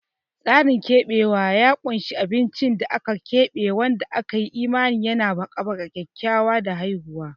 Tsarin keɓewa ya ƙunshi abincin da aka keɓe wanda aka yi imanin yana haɓaka kyakkyawa da haihuwa.